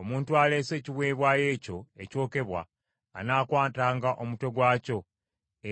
Omuntu aleese ekiweebwayo ekyo ekyokebwa anaakwatanga omutwe gwakyo,